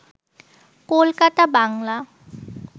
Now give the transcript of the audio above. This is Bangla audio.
কলকাতা বাংলা